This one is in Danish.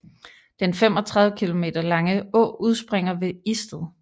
Den 35 km lange å udspringer ved Isted